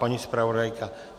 Paní zpravodajka?